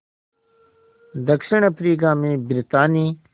दक्षिण अफ्रीका में ब्रितानी